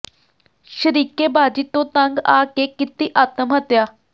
ਸ਼ਰੀਕੇ ਬਾਜੀ ਤੋਂ ਤੰਗ ਆ ਕੇ ਕੀਤੀ ਆਤਮ ਹੱਤਿਆ